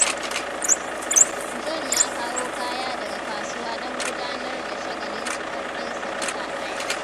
John ya kawo kaya daga kasuwa don gudanar da shagalin cikar ɗansa wata ɗaya.